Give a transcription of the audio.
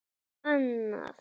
Annað væri ókurteisi.